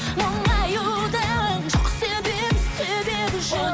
мұңаюдың жоқ себебі себебі жоқ